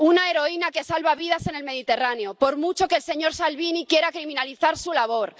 Una heroína que salva vidas en el Mediterráneo, por mucho que el señor Salvini quiera criminalizar su labor.